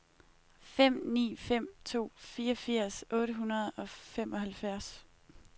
fem ni fem to fireogfirs otte hundrede og femoghalvfjerds